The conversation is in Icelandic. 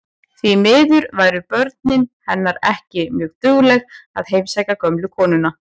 Því miður væru börnin hennar ekki mjög dugleg að heimsækja gömlu konuna.